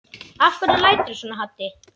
Af hverju læturðu svona Haddi?